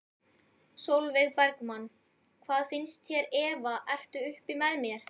Sólveig Bergmann: Hvað finnst þér Eva ertu uppi með þér?